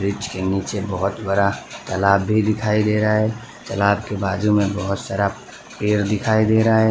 Bridge के नीचे बहोत बड़ा तालाब भी दिखाई दे रहा है तलाब के बाजू में बहोत सारा पेड़ दिखाई दे रहा है।